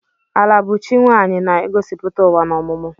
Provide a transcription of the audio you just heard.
Ala bụ chi nwaanyị na-egosipụta ụwa na ọmụmụ.